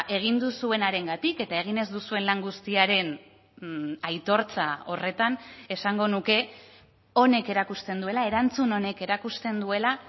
egin duzuenarengatik eta egin ez duzuen lan guztiaren aitortza horretan esango nuke honek erakusten duela erantzun honek erakusten duela